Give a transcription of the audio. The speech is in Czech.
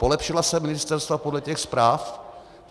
Polepšila se ministerstva podle těch zpráv?